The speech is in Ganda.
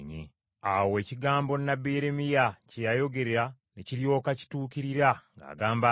Awo ekigambo nnabbi Yeremiya kye yayogera ne kiryoka kituukirira ng’agamba nti,